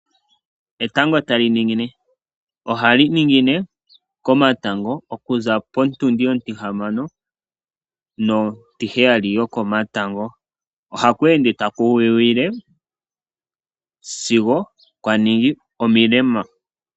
Etango tali ningine ohali ningine komatango okuza potundi ontihamano nontiheyali yokomatango. Ohaku ende taku wiwile sigo kwaningi omilema.